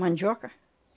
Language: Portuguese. Mandioca.